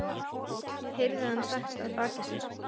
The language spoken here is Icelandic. Það var stærsti og mesti hamingjudagur míns dýrðlega lífs